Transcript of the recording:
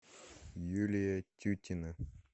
юлия тютина